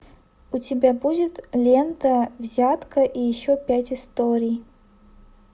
у тебя будет лента взятка и еще пять историй